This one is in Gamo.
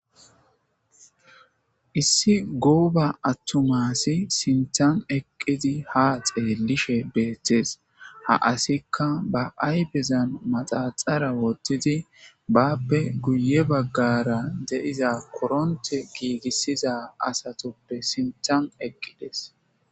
Issi goba atuma asi sinthan eqidi ha xelishe betes ha asika ba ayfezan manaxara wothidi bape guye bagara de'iza koronte gigisiza atupe sinthara eqides